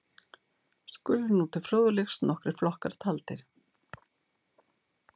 Skulu nú til fróðleiks nokkrir flokkar taldir.